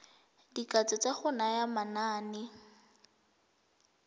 dikatso tsa go naya manane